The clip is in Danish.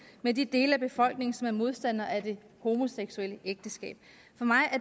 med de dele af befolkningen som er modstandere af det homoseksuelle ægteskab for mig